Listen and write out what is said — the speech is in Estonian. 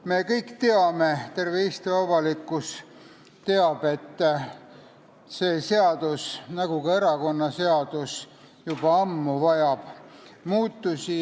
Me kõik teame, terve Eesti avalikkus teab, et see seadus nagu ka erakonnaseadus vajab juba ammu muutusi.